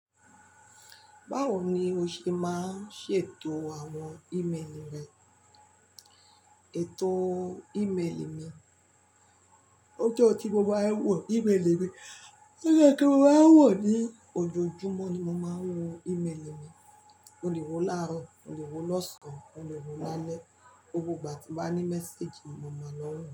Báwo ni o ṣe máa ń ṣètò àwọn ìméèlì rẹ? Ètò ìméèlì mi, ó jẹ́ ọn tí mo máa ń wọ̀ ìméèlì mi. Ó yẹ kí mo máa wọ̀ ní ojoojúmọ́ ni mo máa ń wo ìméèlì mi. Mo lè wo láàárọ̀, mo lè wo lọ́sàn án, mo lè wo lálẹ́. Gbogbo ìgbà tí n bá ní message, n mo máa lọ n wo.